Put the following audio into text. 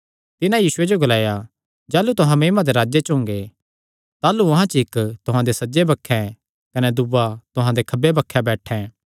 तिन्हां यीशुये जो ग्लाया जाह़लू तुहां महिमा दे राज्जे च ओंगे ताह़लू अहां च इक्क तुहां दे सज्जे बक्खे कने दूआ तुहां दे खब्बे बक्खे बैठैं